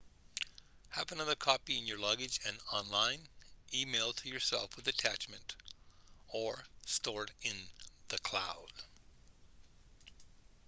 have another copy in your luggage and online e-mail to yourself with attachment or stored in the cloud"